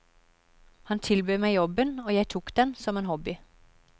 Han tilbød meg jobben, og jeg tok den, som en hobby.